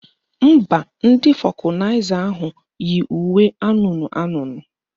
Mba, ndị fọkụnaịza ahụ yi uwe anụnụ anụnụ